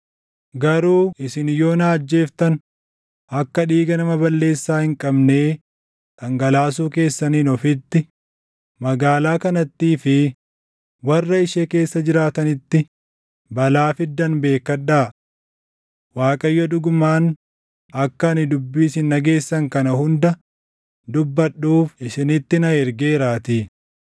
Garuu isin yoo na ajjeeftan akka dhiiga nama balleessaa hin qabnee dhangalaasuu keessaniin ofitti, magaalaa kanattii fi warra ishee keessa jiraatanitti balaa fiddan beekkadhaa; Waaqayyo dhugumaan akka ani dubbii isin dhageessan kana hunda dubbadhuuf isinitti na ergeeraatii.”